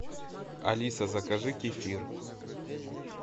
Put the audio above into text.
алиса закажи кефир